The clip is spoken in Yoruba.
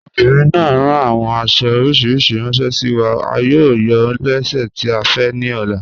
Obìnrin náà ràn awọn àṣo oríṣiríṣí ránṣẹ sí wa, à yóò yàn lẹ́sẹ̀ tì à fẹ́ ní ọ̀lá.